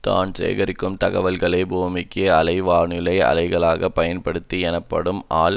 தான் சேகரிக்கும் தகவல்களை பூமிக்கு அலை வானொலி அலைகளை பயன்படுத்தி எனப்படும் ஆழ்